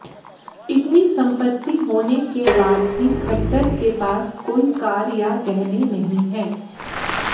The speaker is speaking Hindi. इतनी संपत्ति होने के बाद भी खट्टर के पास कोई कार या गहने नहीं है